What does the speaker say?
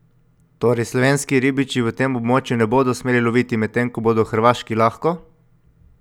Torej slovenski ribiči v tem območju ne bodo smeli loviti, medtem ko bodo Hrvaški lahko?